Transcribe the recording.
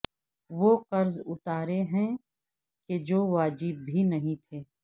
وہ قرض اتارے ہیں کہ جو واجب بھی نہیں تھے